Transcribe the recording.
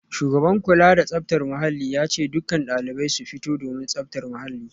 Shugaban kula da tsaftar muhalli ya ce dukkan daliban su fito domin tsaftar muhalli